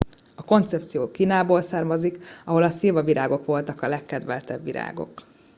a koncepció kínából származik ahol a szilvavirágok voltak a legkedveltebb virágok